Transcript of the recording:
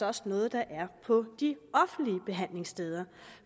også noget der er på de offentlige behandlingssteder